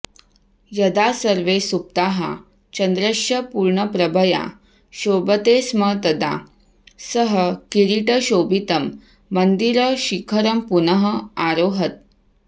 यदा सर्वे सुप्ताः चन्द्रश्च पूर्णप्रभया शोभते स्म तदा सः किरीटशोभितं मन्दिरशिखरं पुनः आरोहत्